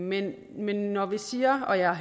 men når vi siger og jeg